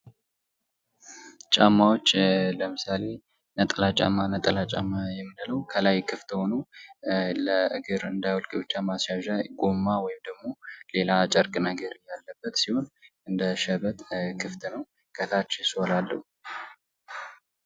ጫማዎች ለምሳሌ ነጠላ ጫማ ነጠላ ጫማ የምንለው ከላይ ክፍት ሁኖ ለእግር እንዳይወልቅ ብቻ ማስያዣ ጎማ ወይም ደግሞ ሌላ ጨርቅ ነገር ያለበት ሲሆን እንደ ሸበጥ ክፍት ነው ከታች ሶል አለው